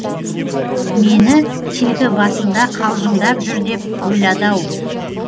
мені тегі басында қалжыңдап жүр деп ойлады ау